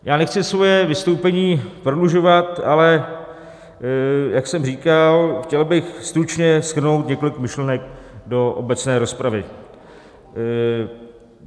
Já nechci svoje vystoupení prodlužovat, ale jak jsem říkal, chtěl bych stručně shrnout několik myšlenek do obecné rozpravy.